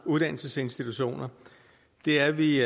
uddannelsesinstitutioner det er vi